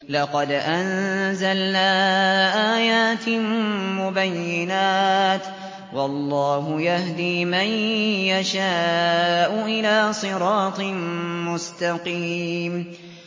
لَّقَدْ أَنزَلْنَا آيَاتٍ مُّبَيِّنَاتٍ ۚ وَاللَّهُ يَهْدِي مَن يَشَاءُ إِلَىٰ صِرَاطٍ مُّسْتَقِيمٍ